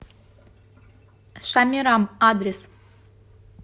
шамирам адрес